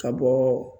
Ka bɔ